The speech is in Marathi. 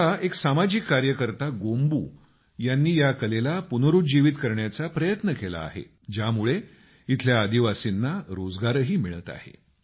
आता एक सामाजिक कार्यकर्ता गोम्बू यांनी या कलेला पुनरूज्जीवित करण्याचा प्रयत्न केला आहे ज्यामुळे इथल्या आदिवासींना रोजगारही मिळत आहे